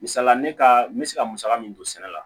Misali ne ka n bɛ se ka musaka min don sɛnɛ la